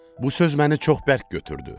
Bu söz məni çox bərk götürdü.